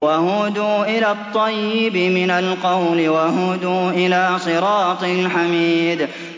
وَهُدُوا إِلَى الطَّيِّبِ مِنَ الْقَوْلِ وَهُدُوا إِلَىٰ صِرَاطِ الْحَمِيدِ